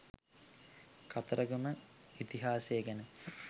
කතරගම ඉතිහාසය ගැන